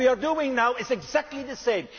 What we are doing now is exactly the same.